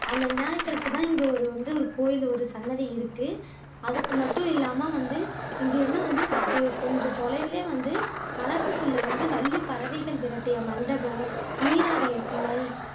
அந்த விநாயகருக்கு தான் இங்க வந்து ஒரு கோவில் ஒன்னு சன்னதி இருக்கு அதுக்கு மட்டும் இல்லாம வந்து இங்க இருந்து வந்து சற்று கொஞ்சம் தொலைவுலையே வந்து வரப்புக்குள்ள வந்து வள்ளி பறவைகள் விரட்டிய மண்டபம், நீராடிய சுனை